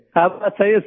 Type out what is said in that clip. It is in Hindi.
हाँ सर सही है सर